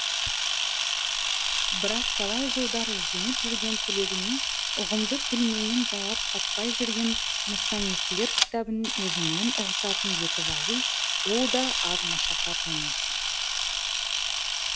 бірақ талай жылдар ізденіп жүрген тілегіне ұғымды тілменен жауап қатпай жүрген мұсаннифлер кітабын өзіңмен ұғысатын етіп алу ол да аз машақат емес